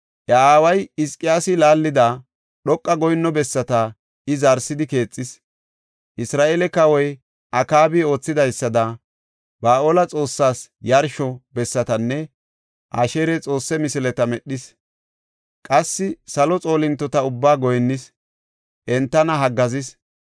Iya aaway Hizqiyaasi laallida, dhoqa goyinno bessata I zaaridi keexis; Isra7eele kawoy Akaabi oothidaysada, Ba7aale xoossaas yarsho bessatanne Asheera xoosse misileta medhis. Qassi salo xoolintota ubbaa goyinnis; entana haggaazis.